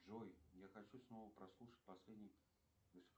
джой я хочу снова прослушать последний